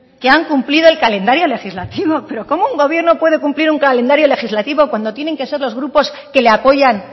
que han cumplido el calendario legislativo pero cómo un gobierno puede cumplir un calendario legislativo cuando tienen que ser los grupos que le apoyan